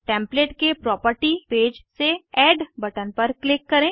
template के property page से add button पर क्लिक करें